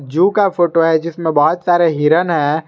जू का फोटो है जिसमें बहुत सारे हिरण हैं।